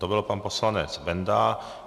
To byl pan poslanec Benda.